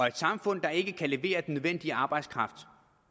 et samfund der ikke kan levere den nødvendige arbejdskraft